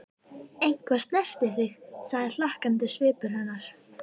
Eitthvað snerti þig, sagði hlakkandi svipur hennar.